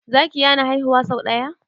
zaki yana haihuwa sau daya